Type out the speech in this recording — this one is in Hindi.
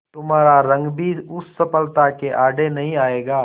तुम्हारा रंग भी उस सफलता के आड़े नहीं आएगा